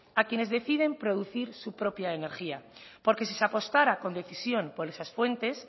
a quienes deciden producir su propia energía porque si se apostara con decisión por esas fuentes